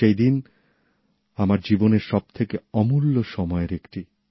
সেই দিন আমার জীবনের সবথেকে অমূল্য সময়ের একটি